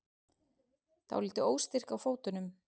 Dálítið óstyrk á fótunum.